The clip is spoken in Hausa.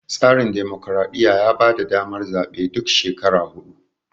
tsarin dimokradiyya ya bada damar zabe duk shekara hudu